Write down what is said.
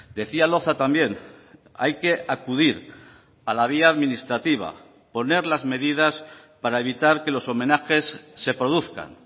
decía loza también hay que acudir a la vía administrativa poner las medidas para evitar que los homenajes se produzcan